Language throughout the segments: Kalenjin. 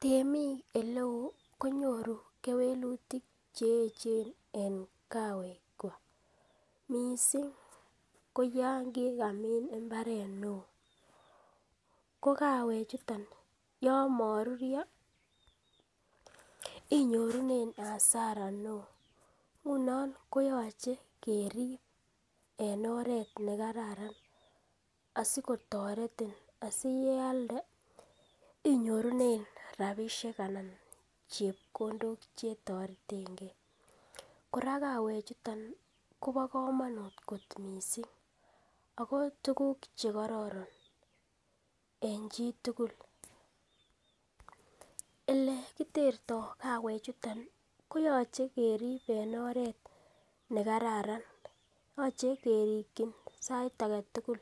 Temik ele oo konyoru kewelutik che eechen en kawekwak, mising ko yan kigamin mbaret neo. Ko kawechuton yon moruryo inyorunen hasara neo. Ngunon koyoche kerib en oret ne kararan asikotoretin, asi yealde inyorunen rabishek anan chepkondok che toretenge. Kora kawechuton kobo komonut kot misng ago tuguk che kororon en chi tugul. Ole kiterto kawechuto, koyoche kerib en oret ne kararan. Yoche kerikin sait age tugul.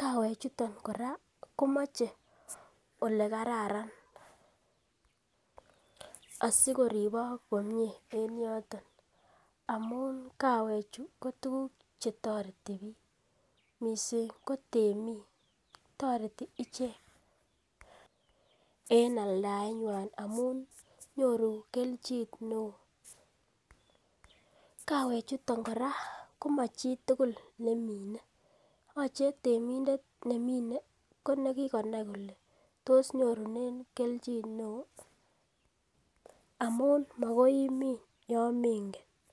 Kawechuton kora komoche ole kararan asikoribok komie en yoton amun kawechu ko tuguk che toreti biik. Miisng ko temik toreti icheg e aldaenywan amun nyoru kelchin neo. Kawechuton kora komachitugul nemine yoche temindet nemine ko nekikonai kole tos nyorunen kelchin neo? Amun magoi imin yon mengen.